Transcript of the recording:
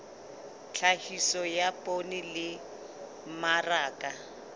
tlhahiso ya poone le mmaraka